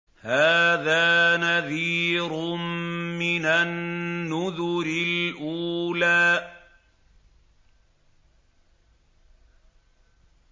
هَٰذَا نَذِيرٌ مِّنَ النُّذُرِ الْأُولَىٰ